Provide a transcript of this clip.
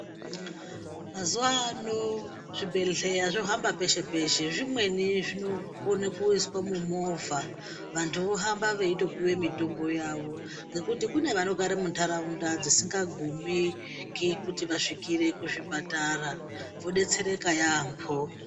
Mazuva ank zvibhedhlera zvifamba pese pese zvimweni zvinokona kuiswa vantu vohamba veitoiswa mitombo yawo ngekuti kune vanogara mundaraunda dzisingagume kuti vasingazvijiri muchipatara vodetsereka yambo.